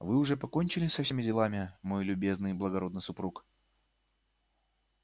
вы уже покончили со всеми делами мой любезный и благородный супруг